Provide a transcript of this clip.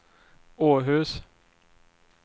Åhus